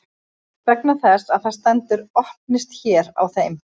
Vegna þess að það stendur Opnist hér á þeim.